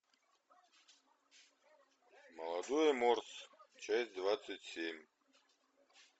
молодой морс часть двадцать семь